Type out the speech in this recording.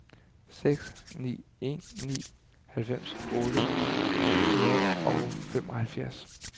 seks ni en ni halvfems otte hundrede og femoghalvfjerds